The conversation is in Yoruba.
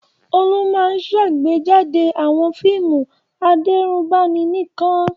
Olú máa ń ṣàgbéjáde àwọn fíìmù adẹ́rùbani nìkan.